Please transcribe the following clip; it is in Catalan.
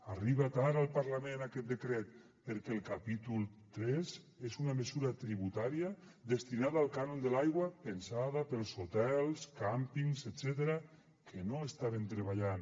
arriba tard al parlament aquest decret perquè el capítol tres és una mesura tributària destinada al cànon de l’aigua pensada per als hotels càmpings etcètera que no estaven treballant